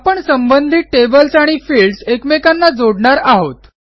आपण संबंधित टेबल्स आणि फील्ड्स एकमेकांना जोडणार आहोत